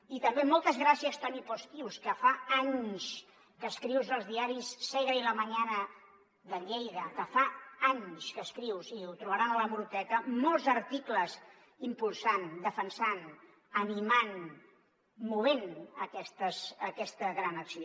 i també moltes gràcies toni postius que fa anys que escrius als diaris segre i crius i ho trobaran a l’hemeroteca molts articles impulsant defensant animant movent aquesta gran acció